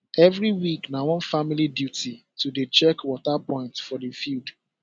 every week na one family duty to dey check water point for the field